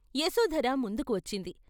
యశోధర ముందుకు వచ్చింది.